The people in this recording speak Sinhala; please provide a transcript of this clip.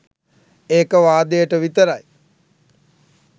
ඒක වාදයට විතරයි